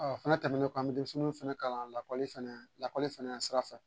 Ɔ o fɛnɛ tɛmɛnen kɔ an bɛ denmisɛnninw fɛnɛ kalan lakɔli fɛnɛ lakɔli fɛnɛ sira fɛ